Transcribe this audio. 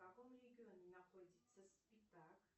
в каком регионе находится спитак